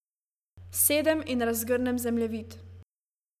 Sedem in razgrnem zemljevid.